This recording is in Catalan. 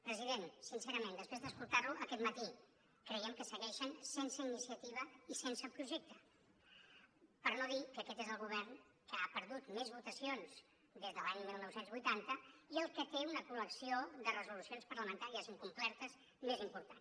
president sincerament després d’escoltar lo aquest matí creiem que segueixen sense iniciativa i sense projecte per no dir que aquest és el govern que ha perdut més votacions des de l’any dinou vuitanta i el que té una col·lecció de resolucions parlamentàries incomplertes més important